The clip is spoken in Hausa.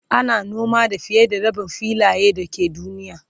ana noma da fiye da Rabin filayen da ke duniya